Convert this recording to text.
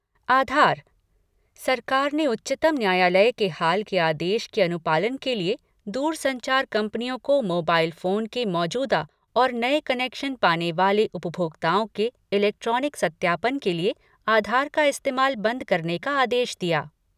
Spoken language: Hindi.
आधार सरकार ने उच्चतम न्यायालय के हाल के आदेश के अनुपालन के लिए दूरसंचार कंपनियों को मोबाइल फ़ोन के मौजूदा और नए कनेक्शन पाने वाले उपभोक्ताओं के इलेक्ट्रॉनिक सत्यापन के लिए आधार का इस्तेमाल बंद करने का आदेश दिया।